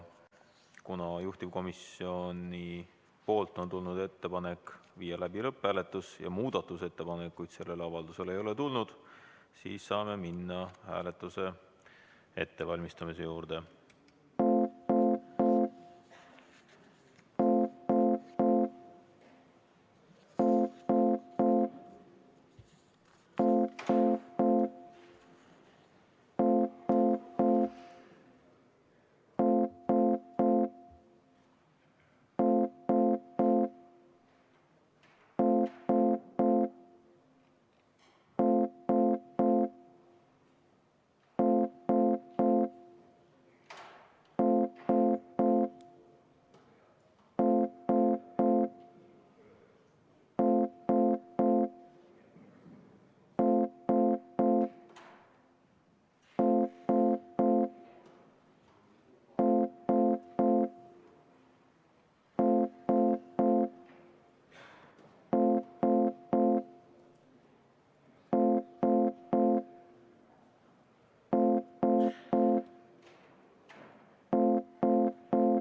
Kuna juhtivkomisjonilt on tulnud ettepanek viia läbi lõpphääletus ja muudatusettepanekuid selle avalduse kohta esitatud ei ole, siis saame minna hääletuse ettevalmistamise juurde.